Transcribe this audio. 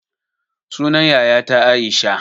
Sunan yayata aisha